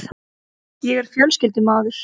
Ég er fjölskyldumaður.